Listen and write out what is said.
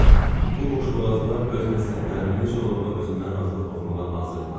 Bu boşboğazlar öz nəsihətlərini necə lovğa özündən razılıqla oxumağa hazırdılar.